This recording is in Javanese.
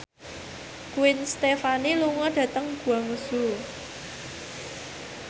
Gwen Stefani lunga dhateng Guangzhou